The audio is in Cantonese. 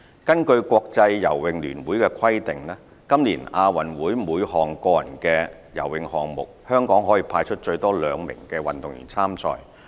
根據國際游泳聯會的規定，今年亞運會每項個人的游泳項目，香港可派出最多兩名運動員參賽。